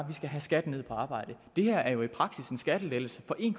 vi skal have skatten ned på arbejde det her er jo i praksis en skattelettelse for en